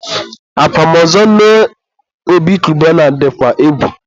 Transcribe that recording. akwamozu nne Obi Cubana dịkwa egwu